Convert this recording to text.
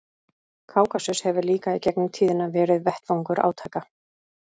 Kákasus hefur líka í gegnum tíðina verið vettvangur átaka.